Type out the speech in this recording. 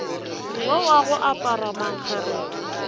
yo wa go apara mankgeretla